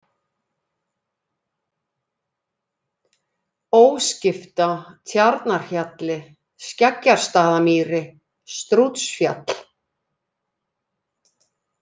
Óskifta, Tjarnarhjalli, Skeggjastaðamýri, Strútsfjall